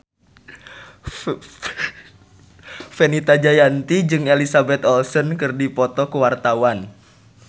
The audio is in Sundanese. Fenita Jayanti jeung Elizabeth Olsen keur dipoto ku wartawan